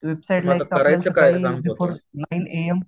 Website before nine A. M.